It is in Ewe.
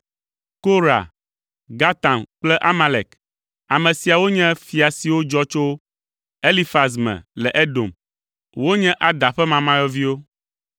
Korah, Gatam kple Amalek. Ame siawo nye fia siwo dzɔ tso Elifaz me le Edom. Wonye Ada ƒe mamayɔviwo.